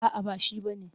A'a ba shi ba ne.